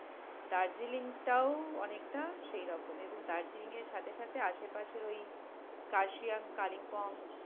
দার্জিলিংটাও অনেকটা সেইরকম, এবং দার্জিলিং এর সাথে সাথে আশেপাশের ওই কার্শিয়াং, কালিম্পং